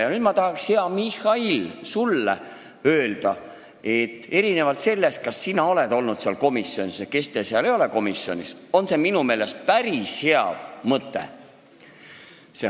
Ja nüüd ma tahaks, hea Mihhail, sulle öelda, et hoolimata sellest, kas sina oled seal komisjonis olnud ja kes teil seal komisjonis ei ole, on see minu meelest päris hea mõte.